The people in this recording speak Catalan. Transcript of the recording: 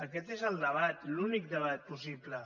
aquest és el debat l’únic debat possible